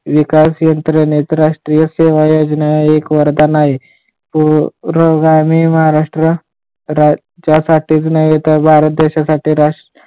विकास यंत्राणेत राष्ट्रीय सेवस योजना एक वरधण आहे. पुरोगामी महाराष्ट्र राज्यासाठीच नाही तर भारत देशासाठी